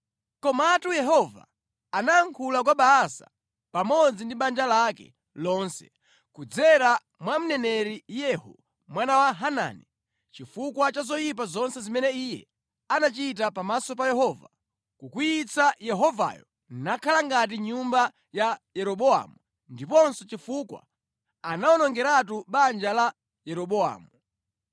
Komatu Yehova anayankhula kwa Baasa pamodzi ndi banja lake lonse kudzera mwa mneneri Yehu mwana wa Hanani, chifukwa cha zoyipa zonse zimene iye anachita pamaso pa Yehova, kukwiyitsa Yehovayo nakhala ngati nyumba ya Yeroboamu ndiponso chifukwa anawonongeratu banja la Yeroboamu.